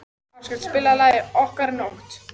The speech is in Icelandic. Áskell, spilaðu lagið „Okkar nótt“.